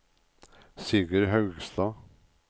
Sigurd Haugstad